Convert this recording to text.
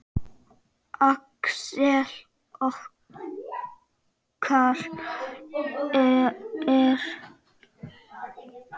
Axel okkar er fallinn frá.